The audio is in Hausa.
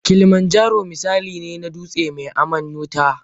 Kilimanjaro misali ne na dutsen mai aman wuta.